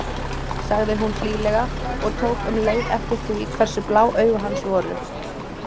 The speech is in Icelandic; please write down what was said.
sagði hún hlýlega og tók um leið eftir því hversu blá augu hans voru.